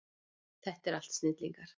Þetta eru allt snillingar.